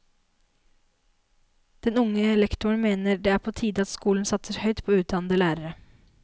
Den unge lektoren mener det er på tide at skolen satser på høyt utdannede lærere.